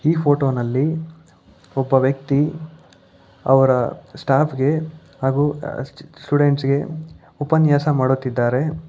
ಈ ಫೋಟೋ ನಲ್ಲಿ ಒಬ್ಬ ವ್ಯಕ್ತಿ ಅವರ ಸ್ಟಾಪ್ ಗೆ ಹಾಗು ಅ ಚಿ ಸ್ಟೂಡೆಂಟ್ಸ್ ಗೆ ಉಪನ್ಯಾಸ ಮಾಡುತ್ತಿದ್ದಾರೆ.